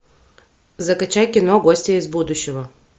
закачай кино гостья из будущего